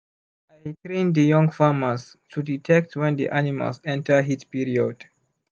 i train the young farmers to detect when the animals enter heat period